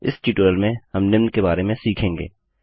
इस ट्यूटोरियल में हम निम्न के बारे में सीखेंगे